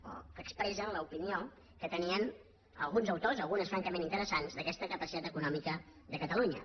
o que expressen l’opinió que tenien alguns autors algunes francament interesants d’aquesta capacitat econòmica de catalunya